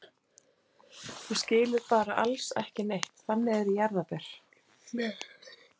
Þú skilur bara alls ekki neitt, þannig eru jarðarber.